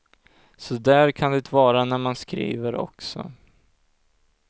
Så där kan det vara när man skriver också.